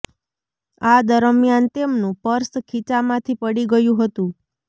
આ દરમિયાન તેમનું પર્સ ખીચા માંથી પડી ગયું હતું